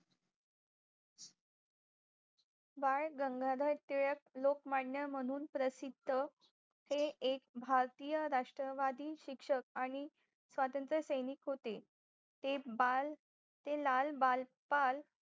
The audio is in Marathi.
बाळ गंगाधर तिलक लोकमान्या म्हणून प्रसिद्ध ते एक भारतीय राष्ट्रवादी शिक्षक आणि स्वतंत्र सैनिक होते ते बाळ ते लाल बाळ पाल